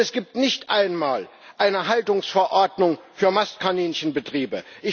Es gibt nicht einmal eine Haltungsverordnung für Mastkaninchenbetriebe.